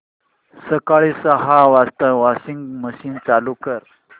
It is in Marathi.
सकाळी सहा वाजता वॉशिंग मशीन चालू कर